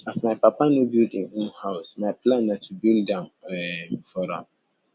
as my papa no build im own house my plan na to build am um for am